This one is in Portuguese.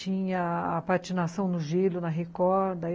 Tinha a patinação no gelo, na recorda.